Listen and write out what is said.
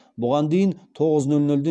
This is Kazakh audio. бұған дейін тоғыз нөл нөлден